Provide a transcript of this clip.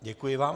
Děkuji vám.